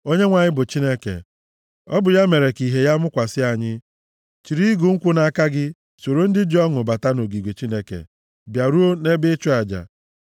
Onyenwe anyị bụ Chineke, ọ bụ ya mere ka ìhè ya mụkwasị anyị. Chịrị igu nkwụ nʼaka gị, soro ndị ji ọṅụ bata nʼogige Chineke bịaruo nʼebe ịchụ aja.